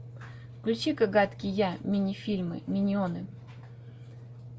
включи ка гадкий я мини фильмы миньоны